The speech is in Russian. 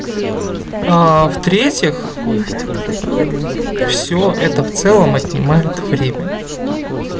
в-третьих всё это в целом отнимает время